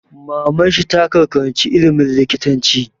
Maman shi ta 'Kar ka karanci ilimin likitanci'!